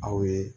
Aw ye